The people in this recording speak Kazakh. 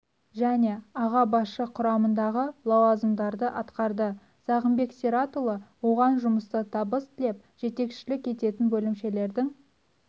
және аға басшы құрамдағы лауазымдарды атқарды сағынбек сиратұлы оған жұмыста табыс тілеп жетекшілік ететін бөлімшелердің